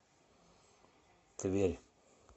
тверь